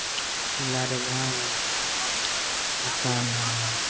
लारे गांव है मकान है।